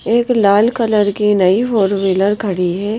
एक लाल कलर की नई फोर व्हीलर खड़ी है।